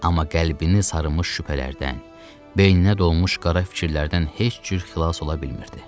Amma qəlbini sarımış şübhələrdən, beyninə dolmuş qara fikirlərdən heç cür xilas ola bilmirdi.